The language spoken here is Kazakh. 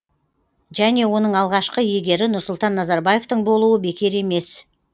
және оның алғашқы иегері нұрсұлтан назарбаевтың болуы бекер емес